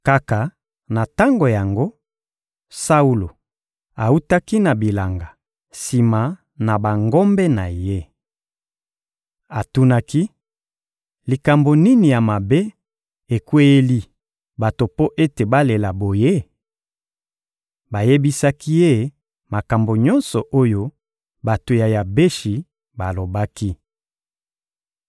Kaka na tango yango, Saulo awutaki na bilanga, sima na bangombe na ye. Atunaki: «Likambo nini ya mabe ekweyeli bato mpo ete balela boye?» Bayebisaki ye makambo nyonso oyo bato ya Yabeshi balobaki.